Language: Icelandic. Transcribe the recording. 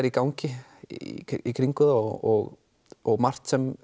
í gangi í kringum það og og margt sem